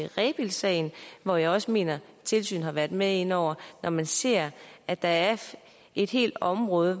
rebildsagen hvor jeg også mener at tilsynet har været med inde over når man ser at der er et helt område